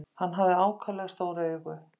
Hann hafði ákaflega stór augu.